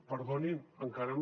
perdonin encara no